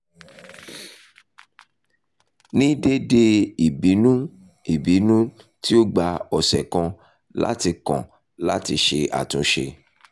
ni deede ibinu ibinu ibinu ibinu ti o gba ọsẹ kan lati kan lati ṣe atunṣe